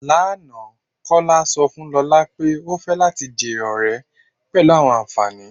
Lána, Kọla sọ fun Lọla pé ó fẹ̀ lati jẹ́ ọ̀rẹ̀ pẹ̀lú awọn ànfàní